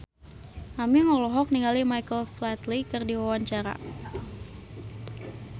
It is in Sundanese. Aming olohok ningali Michael Flatley keur diwawancara